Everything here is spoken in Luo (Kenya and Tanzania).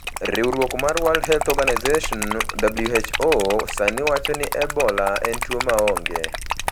Riwruok mar World Health Organization (WHO) sani wacho ni Ebola en tuwo maonge.